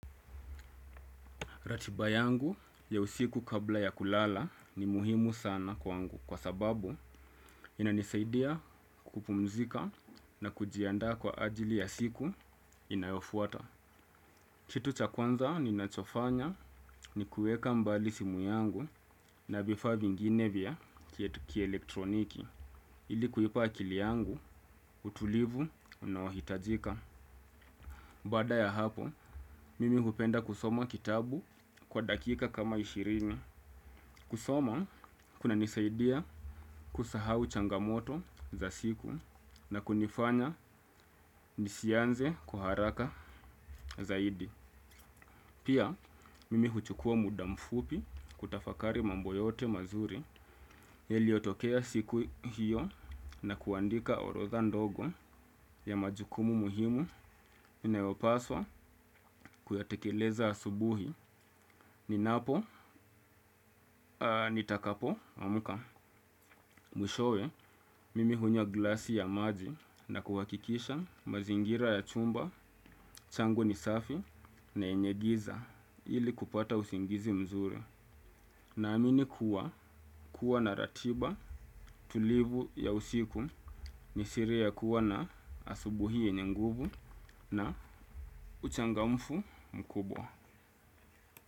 Ratiba yangu ya usiku kabla ya kulala ni muhimu sana kwangu kwa sababu inanisaidia kupumzika na kujiandaa kwa ajili ya siku inayofuata. Kitu cha kwanza ninachofanya ni kueka mbali simu yangu na vifaa vingine vya kielektroniki ili kuipa akili yangu utulivu unaohitajika. Baada ya hapo, mimi hupenda kusoma kitabu kwa dakika kama ishirini. Kusoma, kunanisaidia kusahau changamoto za siku na kunifanya nisianze kwa haraka zaidi. Pia, mimi huchukua muda mfupi kutafakari mambo yote mazuri, iliyotokea siku hiyo na kuandika orodha ndogo ya majukumu muhimu. Inayopaswa kuyatekeleza asubuhi ninapo nitakapoamka mwishowe mimi hunywa glasi ya maji na kuhakikisha mazingira ya chumba changu ni safi na yenye giza ili kupata usingizi mzuri. Naamini kuwa kuwa na ratiba tulivu ya usiku ni siri ya kuwa na asubuhi yenye nguvu na uchangamfu mkubwa.